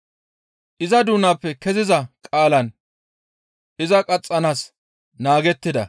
Iza doonappe keziza qaalan iza qaxxanaas naagettida.